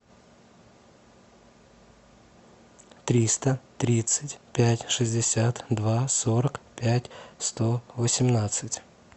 триста тридцать пять шестьдесят два сорок пять сто восемнадцать